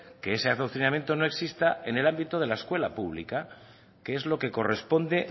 que ese adoctrinamiento no exista en el ámbito de la escuela pública que es lo que corresponde